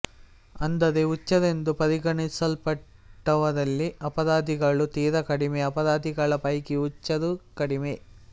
ಅಂದರೆ ಹುಚ್ಚರೆಂದು ಪರಿಗಣಿಸಲ್ಪಟ್ಟವರಲ್ಲಿ ಅಪರಾಧಿಗಳು ತೀರ ಕಡಿಮೆ ಅಪರಾಧಿಗಳ ಪೈಕಿ ಹುಚ್ಚರೂ ಕಡಿಮೆ